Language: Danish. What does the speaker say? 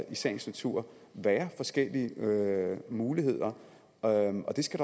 i sagens natur være forskellige muligheder og og det skal